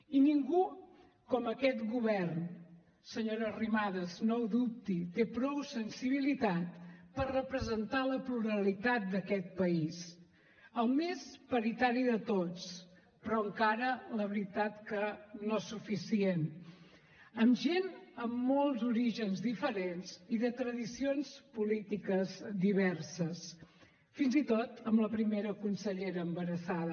i ningú com aquest govern senyora arrimadas no ho dubti té prou sensibilitat per representar la pluralitat d’aquest país el més paritari de tots però encara la veritat no suficient amb gent amb molts orígens diferents i de tradicions polítiques diverses fins i tot amb la primera consellera embarassada